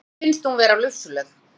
Henni finnst hún vera lufsuleg.